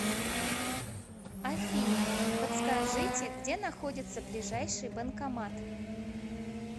афина подскажите где находится ближайший банкомат